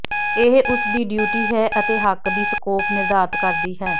ਇਹ ਉਸ ਦੀ ਡਿਊਟੀ ਹੈ ਅਤੇ ਹੱਕ ਦੀ ਸਕੋਪ ਨਿਰਧਾਰਿਤ ਕਰਦੀ ਹੈ